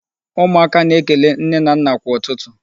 Ụmụaka na-ekele nne na nna kwa ụtụtụ.